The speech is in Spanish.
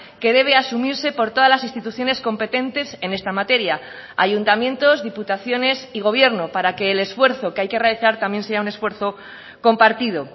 que debe asumirse por todas las instituciones competentes en esta materia ayuntamientos diputaciones y gobierno para que el esfuerzo que hay que realizar también sea un esfuerzo compartido